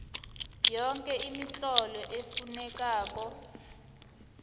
yoke imitlolo efunekako